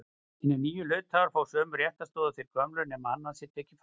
Hinir nýju hluthafar fá sömu réttarstöðu og þeir gömlu nema annað sé tekið fram.